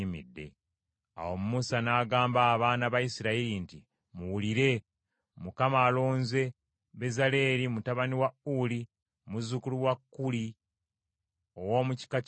Awo Musa n’agamba abaana ba Isirayiri nti, “Muwulire. Mukama alonze Bezaaleeri mutabani wa Uli, muzzukulu wa Kuuli, ow’omu kika kya Yuda.